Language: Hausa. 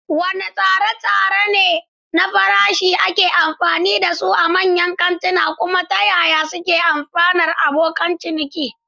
Wadanne tsare-tsare na farashi ne ake amfani da su a manyan kantuna, kuma ta yaya suke amfanar abokan ciniki?